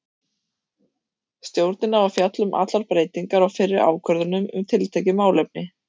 Stjórnin á að fjalla um allar breytingar á fyrri ákvörðunum um tiltekið málefni.